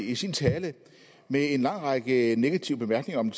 i sin tale med en lang række negative bemærkninger om